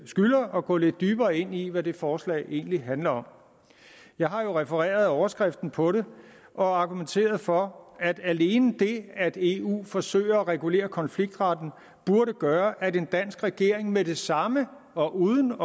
skylder at gå lidt dybere ind i hvad det forslag egentlig handler om jeg har jo refereret overskriften på det og argumenteret for at alene det at eu forsøger at regulere konfliktretten burde gøre at en dansk regering med det samme og uden